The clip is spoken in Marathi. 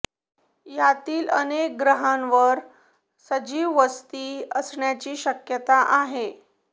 यातील अनेक ग्रहांवर सजीव वस्ती असण्याची शक्यता आहे